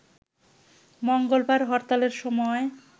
মঙ্গলবার হরতালের সময়